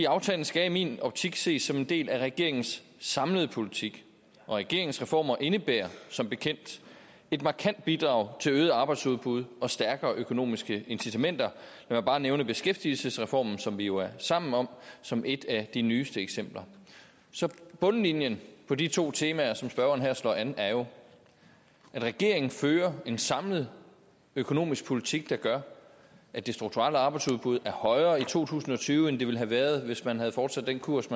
aftalen skal i min optik ses som en del af regeringens samlede politik og regeringens reformer indebærer som bekendt et markant bidrag til øget arbejdsudbud og stærkere økonomiske incitamenter mig bare nævne beskæftigelsesreformen som vi jo er sammen om som et af de nyeste eksempler så bundlinjen på de to temaer som spørgeren her slår an er jo at regeringen fører en samlet økonomisk politik der gør at det strukturelle arbejdsudbud er højere i to tusind og tyve end det ville have været hvis man havde fortsat den kurs